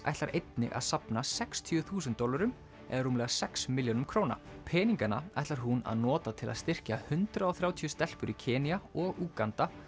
ætlar einnig að safna sextíu þúsund dollurum eða rúmlega sex milljónum króna peningana ætlar hún að nota til að styrkja hundrað og þrjátíu stelpur í Kenía og Úganda